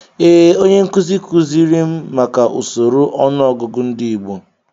Ee, onye nkuzi kuziri m maka usoro ọnụọgụgụ ndị Igbo.